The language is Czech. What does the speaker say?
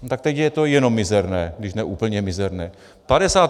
Tak teď je to jenom mizerné, když ne úplně mizerné.